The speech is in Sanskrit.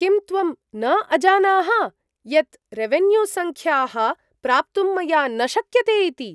किं त्वं न अजानाः, यत् रेवेन्यूसङ्ख्याः प्राप्तुं मया न शक्यते इति?